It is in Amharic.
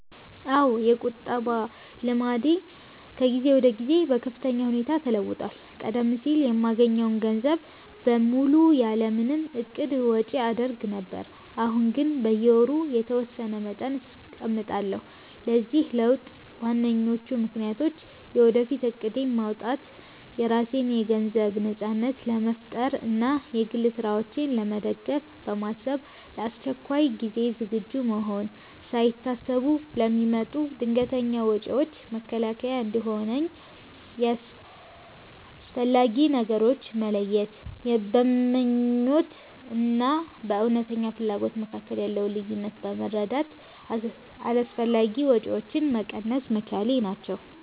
አዎ፣ የቁጠባ ልምዴ ከጊዜ ወደ ጊዜ በከፍተኛ ሁኔታ ተለውጧል። ቀደም ሲል የማገኘውን ገንዘብ በሙሉ ያለ ምንም እቅድ ወጪ አደርግ ነበር፤ አሁን ግን በየወሩ የተወሰነ መጠን አስቀምጣለሁ። ለዚህ ለውጥ ዋነኞቹ ምክንያቶች፦ የወደፊት እቅድ ማውጣት፦ የራሴን የገንዘብ ነጻነት ለመፍጠር እና የግል ስራዎቼን ለመደገፍ በማሰብ፣ ለአስቸኳይ ጊዜ ዝግጁ መሆን፦ ሳይታሰቡ ለሚመጡ ድንገተኛ ወጪዎች መከላከያ እንዲሆነኝ፣ የአስፈላጊ ነገሮች መለየት፦ በምኞት እና በእውነተኛ ፍላጎት መካከል ያለውን ልዩነት በመረዳት አላስፈላጊ ወጪዎችን መቀነስ መቻሌ ናቸው።